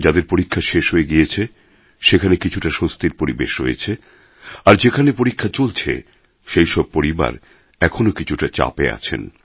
যাদের পরীক্ষা শেষ হয়ে গিয়েছে সেখানে কিছুটা স্বস্তির পরিবেশ রয়েছে আর যেখানে পরীক্ষা চলছে সেই সব পরিবার এখনও কিছুটা চাপে আছেন